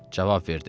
Cavab verdi.